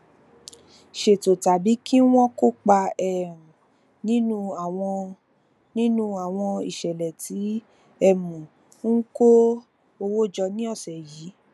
ṣètò tàbí kí wọn kópa um nínú àwọn nínú àwọn ìṣẹlẹ tí um ó ń kó owó jọ ní ọsẹ yìí